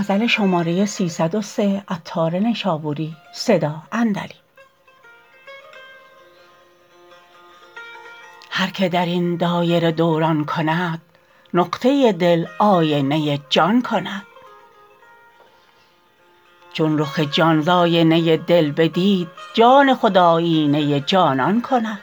هر که درین دایره دوران کند نقطه دل آینه جان کند چون رخ جان ز آینه دل بدید جان خود آیینه جانان کند